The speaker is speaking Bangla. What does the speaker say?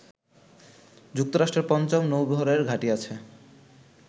যুক্তরাষ্ট্রের পঞ্চম নৌবহরের ঘাঁটি আছে